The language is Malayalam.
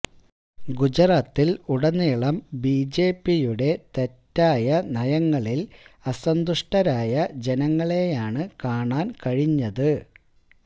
ഗുജറാത്തിൽ ഉടനീളം ബിജെപിയുടെ തെറ്റായ നയങ്ങളിൽ അസന്തുഷ്ടരായ ജനങ്ങളെയാണ് കാണാൻ കഴിഞ്ഞത്